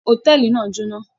Hòtẹ́ẹ́lì náà jóná.